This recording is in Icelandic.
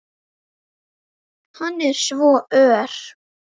Hann er svo ör!